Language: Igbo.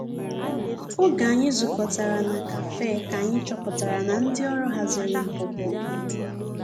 Oge anyi zu kọtara na kafe ka anyi chọpụtara na ndi ọrụ hazịrị npụpụ.